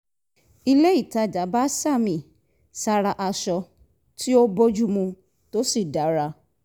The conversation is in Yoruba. ilé ìtajà bá sàmì sára aṣọ tí ó bójú mu tó sì dára